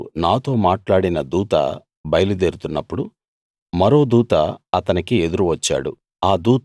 అప్పుడు నాతో మాట్లాడిన దూత బయలుదేరుతున్నప్పుడు మరో దూత అతనికి ఎదురు వచ్చాడు